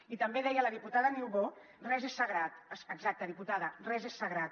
i també deia la diputada niubó res és sagrat exacte diputada res és sagrat